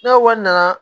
N'o wari nana